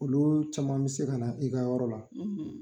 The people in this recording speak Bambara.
Olu caman bɛ se ka na i ka yɔrɔ la